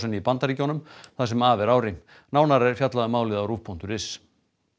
í Bandaríkjunum það sem af er ári nánar er fjallað um málið á rúv punktur is